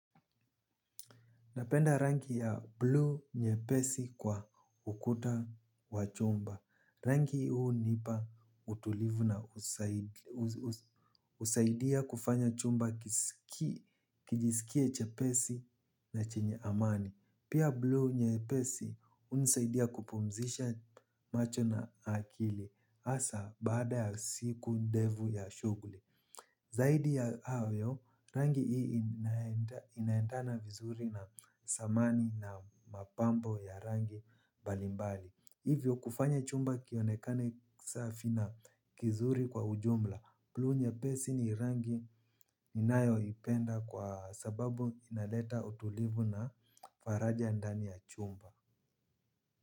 Napenda rangi ya blue nyepesi kwa ukuta wa chumba. Rangi hunipa utulivu na usaidia kufanya chumba kijisikie chepesi na chenye amani. Pia blue nyepesi unisaidia kupumzisha macho na akili. Asa baada ya siku ndevu ya shuguli. Zaidi ya hayo, rangi hii inaendana vizuri na samani na mapambo ya rangi mbalimbali. Hivyo kufanya chumba kionekane safi na kizuri kwa ujumla, bluu nyepesi ni rangi ninayoipenda kwa sababu inaleta utulivu na faraja ndani ya chumba.